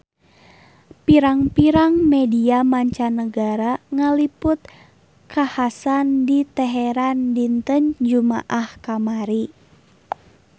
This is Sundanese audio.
Pirang-pirang media mancanagara ngaliput kakhasan di Teheran dinten Jumaah kamari